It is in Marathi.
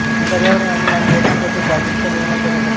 पर्यावरण आणि मानवी हक्क बद्दल जागरुकता निर्माण करण्यासाठी